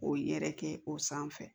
O yɛrɛ kɛ o sanfɛ